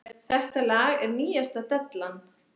Þetta lag er nýjasta dellan.